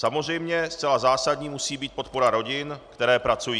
Samozřejmě zcela zásadní musí být podpora rodin, které pracují.